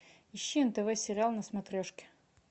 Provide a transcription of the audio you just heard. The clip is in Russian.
ищи нтв сериал на смотрешке